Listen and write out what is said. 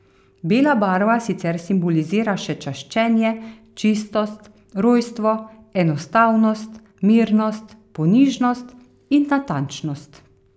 Bela barva sicer simbolizira še čaščenje, čistost, rojstvo, enostavnost, mirnost, ponižnost in natančnost.